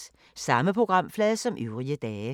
Samme programflade som øvrige dage